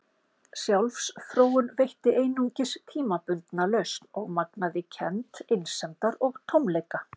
Sjálfsfróun veitti einungis tímabundna lausn og magnaði kennd einsemdar og tómleika.